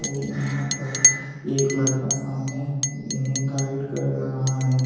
और यहां पर एक लड़का सामने इन्हें गाइड कर रहा है।